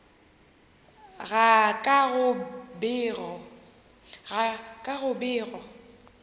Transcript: ga ka go be go